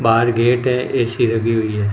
बाहर गेट है ए_सी लगी हुई है।